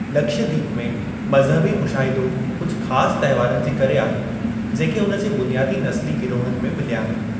लक्षय दीप में मज़हबी मुशाहिदो कुझु ख़ासि तहिंवारनि जे करे आहे जेके उन जे बुनियादी नस्ली गिरोहनि में मिलिया आहिनि।